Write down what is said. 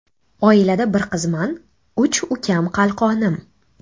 Oilada bir qizman, uch ukam qalqonim.